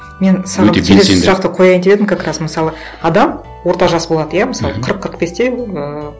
мен саған келесі сұрақты қояйын деп едім как раз мысалы адам орта жас болады иә мысалы қырық қырық бесте ііі